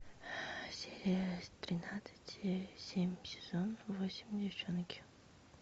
серия тринадцать семь сезон восемь деффчонки